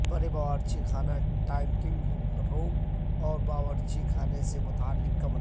بڑے باورچی خانے کے ڈائننگ روم اور باورچی خانے سے متعلق کمرہ